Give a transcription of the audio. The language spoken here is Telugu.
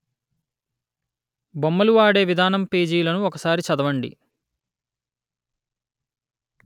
బొమ్మలు వాడే విధానం పేజీలను ఒక సారి చదవండి